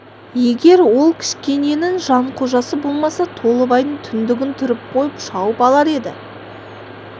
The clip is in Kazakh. егер ол кішкененің жанқожасы болмаса толыбай түндігін түріп қойып шауып алар еді